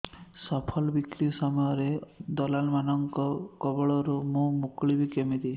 ଫସଲ ବିକ୍ରୀ ସମୟରେ ଦଲାଲ୍ ମାନଙ୍କ କବଳରୁ ମୁଁ ମୁକୁଳିଵି କେମିତି